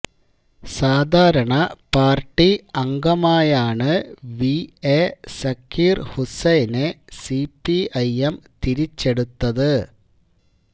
സാധാരണ പാര്ട്ടി അംഗമായാണ് V A Zakir ഹുസൈനെ സിപിഐഎം തിരിച്ചെടുത്തത്